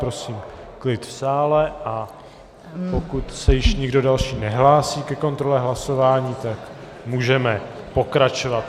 Prosím klid v sále, a pokud se již nikdo další nehlásí ke kontrole hlasování, tak můžeme pokračovat.